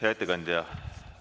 Hea ettekandja!